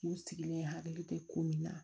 U sigilen hakili te ko min na